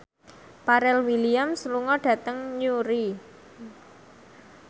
Pharrell Williams lunga dhateng Newry